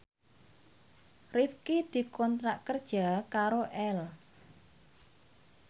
Rifqi dikontrak kerja karo Elle